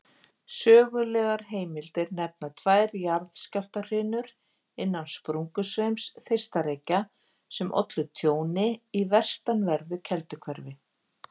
Sögulegar heimildir nefna tvær jarðskjálftahrinur innan sprungusveims Þeistareykja sem ollu tjóni í vestanverðu Kelduhverfi.